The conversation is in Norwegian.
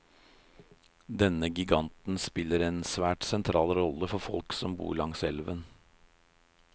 Denne giganten spiller en svært sentral rolle for folk som bor langs elven.